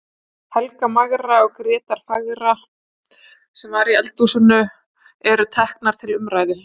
Helga magra og Gréta fagra, sem var í eldhúsinu, eru teknar til umræðu.